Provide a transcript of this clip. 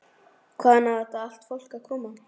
Hvaðan á allt þetta fólk að koma?